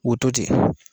U to ten